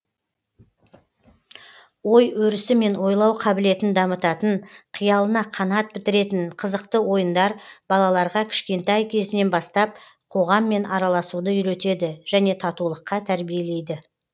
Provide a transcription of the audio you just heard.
ой өрісі мен ойлау қабілетін дамытатын қиялына қанат бітіретін қызықты ойындар балаларға кішкентай кезінен бастап қоғаммен араласуды үйретеді және татулыққа тәрбиелейді